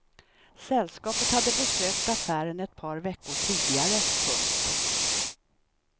Sällskapet hade besökt affären ett par veckor tidigare. punkt